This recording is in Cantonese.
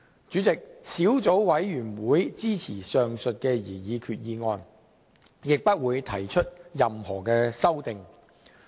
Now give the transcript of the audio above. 主席，小組委員會支持前述的擬議決議案，亦不會提出任何修訂。